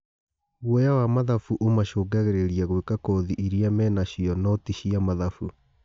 Guoya wa mathabu ũmacũngagĩ rĩ ria gwĩ ka kothi irĩ a menacio no ti cia mathabu.